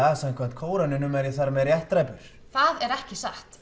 að samkvæmt Kóraninum er ég þar með réttdræpur það er ekki satt